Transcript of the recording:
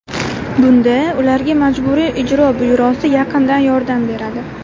Bunda ularga Majburiy ijro byurosi yaqindan yordam beradi.